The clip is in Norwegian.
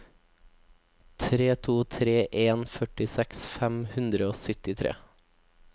tre to tre en førtiseks fem hundre og syttitre